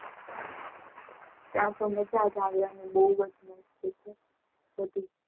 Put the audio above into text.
ત્યાતો મજાજ આવે બૌજ મસ્ત છે બધું